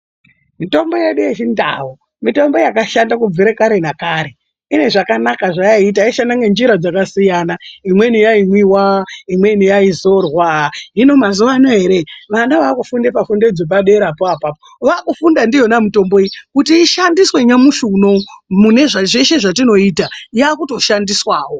Mutombo yedu yechindau mitombo yakashanda kubvira kare nakare. Inezvakanaka zvayaiita yaishanda nenzira dzakasiyana. Imweni yaimwiwa imweni yaidzorwa. Hino mazuwano ere vana vakufunda pafundo dzepaderapo pona apapo vakufunda ndiyona mitombo iyi kuti ishandiswe nyamushi unowu mune zveshe zvetinoita yakutoshandiswawo